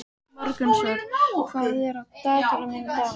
Morgunsól, hvað er á dagatalinu mínu í dag?